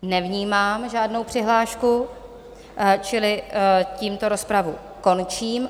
Nevnímám žádnou přihlášku, čili tímto rozpravu končím.